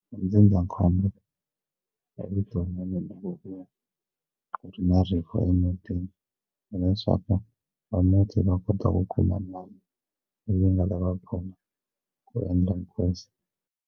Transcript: Ndzindzakhombo evuton'wini ku ri na rifu emutini hileswaku va muti va kota ku kuma ndhawu leyi nga ta va khoma ku endla hinkwaso.